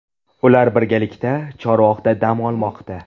Ular birgalikda Chorvoqda dam olmoqda.